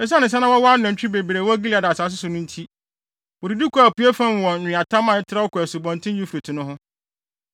Esiane sɛ na wɔwɔ anantwi bebree wɔ Gilead asase so no nti, wodidi kɔɔ apuei fam wɔ nweatam a ɛtrɛw kɔ Asubɔnten Eufrate no ho.